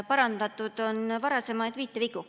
Parandatud on varasemaid viitevigu.